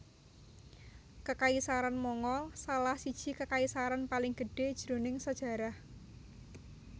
Kakaisaran Mongol salah siji kakaisaran paling gedhé jroning sajarah